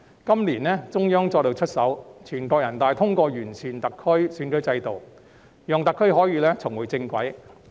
今年，中央再度出手，全國人大通過完善特區選舉制度，讓特區可以重回正軌。